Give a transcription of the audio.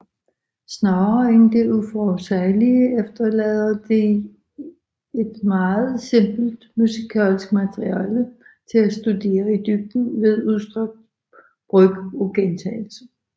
Snarere end det uforudsigelige efterlader de et meget simpelt musikalsk materiale at studere i dybden ved udstrakt brug af gentagelse